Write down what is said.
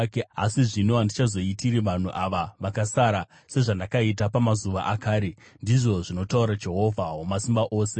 Asi zvino handichazoitiri vanhu ava vakasara sezvandakaita pamazuva akare,” ndizvo zvinotaura Jehovha Wamasimba Ose.